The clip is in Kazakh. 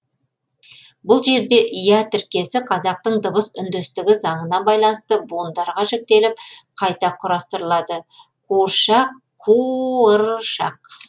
бұл жерде ия тіркесі қазақтың дыбыс үндестігі заңына байланысты буындарға жіктеліп қайта құрастырылады қуыршақ қуы ыр шақ